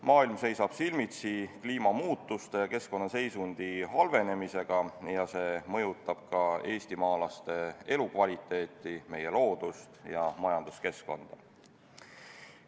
Maailm seisab silmitsi kliimamuutuste ja keskkonnaseisundi halvenemisega ja see mõjutab ka eestimaalaste elukvaliteeti, meie loodust ja majanduskeskkonda.